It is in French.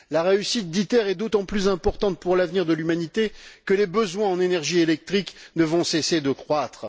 La réussite d'ITER est d'autant plus importante pour l'avenir de l'humanité que les besoins en énergie électrique ne vont cesser de croître.